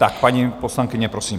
Tak paní poslankyně, prosím.